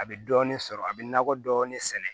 A bɛ dɔɔnin sɔrɔ a bɛ nakɔ dɔɔnin sɛnɛ